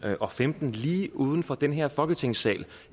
og femten lige uden for den her folketingssal